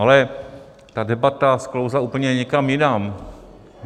Ale ta debata sklouzla úplně někam jinam.